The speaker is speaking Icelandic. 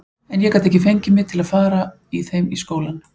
En ég gat ekki fengið mig til að fara í þeim í skólann.